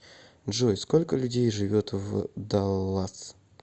джой сколько людей живет в даллас